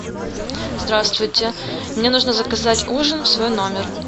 здравствуйте мне нужно заказать ужин в свой номер